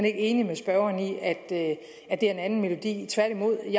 ikke enig med spørgeren i at det er en anden melodi tværtimod